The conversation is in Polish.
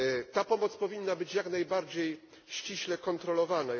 Ta pomoc powinna być jak najbardziej ściśle kontrolowana.